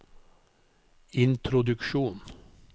introduksjon